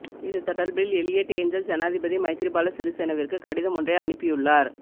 இது தொடர்பில் Eliot Engel ஜனாதிபதி மைத்திரிபால சிறிசேனவிற்கு கடிதமொன்றை அனுப்பியுள்ளார்